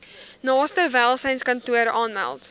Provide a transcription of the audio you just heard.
naaste welsynskantoor aanmeld